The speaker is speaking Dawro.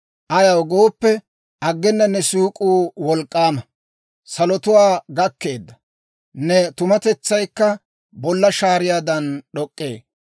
Ayaw gooppe, aggena ne siik'uu wolk'k'aama; salotuwaa gakkeedda. Ne tumatetsaykka bolla shaariyaadan d'ok'k'ee.